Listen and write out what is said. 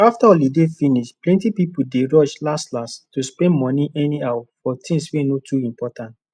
after holiday finish plenty people dey rush lastlast to spend money anyhow for things wey no too important